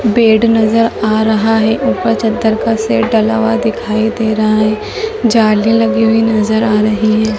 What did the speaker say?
Bed नजर आ रहा है ऊपर चद्दर का सेट डला हुआ दिखाई दे रहा है जाली लगी हुई नजर आ रही है।